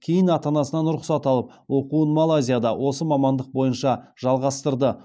кейін ата анасынан рұқсат алып оқуын малайзияда осы мамандық бойынша жалғастырды